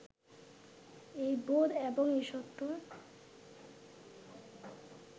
এই বোধ এবং এই সত্য